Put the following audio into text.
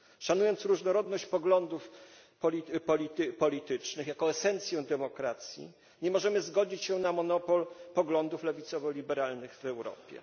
Szanując różnorodność poglądów politycznych jako esencję demokracji, nie możemy zgodzić się na monopol poglądów lewicowo liberalnych w Europie.